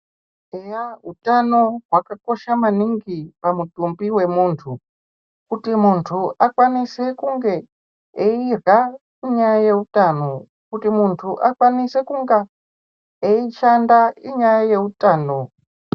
Eya utano hwakakosha maningi pamutumbi wemuntu kuti muntu akwanise kunge eirya inyaya yeutano kuti muntu akwanise kunge eishanda inyaya yeutano.